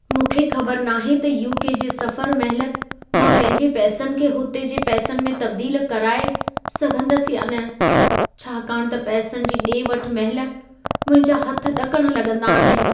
मूंखे ख़बर नाहे त यू.के. जे सफ़र महिल मां पंहिंजे पैसनि खे हुते जे पैसनि में तब्दील कराए सघंदसि या न। छाकाणि त पैसनि जी ॾे-वठि महिल मुंहिंजा हथ ॾकण लॻंदा आहिनि।